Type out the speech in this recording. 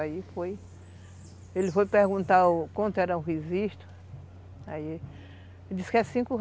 Aí foi... Ele foi perguntar o quanto era o registro, aí... Ele disse que era cinco re